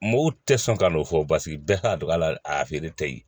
Mɔw tɛ sɔn ka n'o fɔ paseke bɛɛ ka don a la a feere tɛ yen